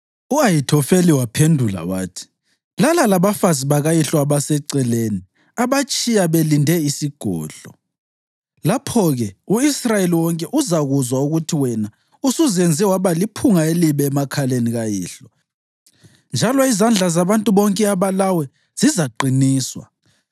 U-Ahithofeli waphendula wathi, “Lala labafazi bakayihlo abaseceleni abatshiya belinde isigodlo. Lapho-ke u-Israyeli wonke uzakuzwa ukuthi wena usuzenze waba liphunga elibi emakhaleni kayihlo, njalo izandla zabantu bonke abalawe zizaqiniswa.”